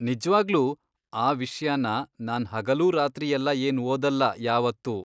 ನಿಜ್ವಾಗ್ಲೂ ಆ ವಿಷ್ಯನ ನಾನ್ ಹಗಲೂ ರಾತ್ರಿಯೆಲ್ಲ ಏನ್ ಓದಲ್ಲ ಯಾವತ್ತೂ.